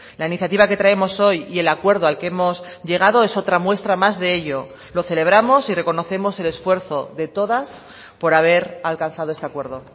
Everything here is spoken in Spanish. la iniciativa que traemos hoy y el acuerdo al que hemos llegado es otra muestra más de ello lo celebramos y reconocemos el esfuerzo de todas por haber alcanzado este acuerdo